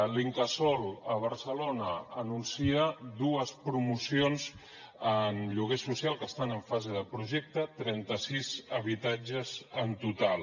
l’incasòl a barcelona anuncia dues promocions en lloguer social que estan en fase de projecte trenta sis habitatges en total